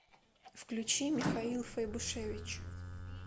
включи михаил файбушевич